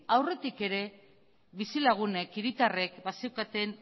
aurretik ere bizilagunek hiritarrek bazeukaten